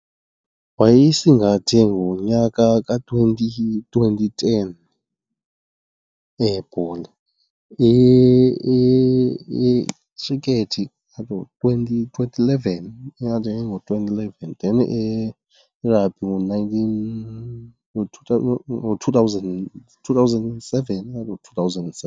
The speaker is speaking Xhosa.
Wayeyisingathe ngonyaka ka-twenty twenty ten eyebhola. Ikhrikethi ingathi ngo-twenty, ngo-twenty eleven, ingathi ngo-twenty eleven then eyerabhi ngo-nineteen, ngo-two thousand and seven, ingathi ngo-two thousand seven.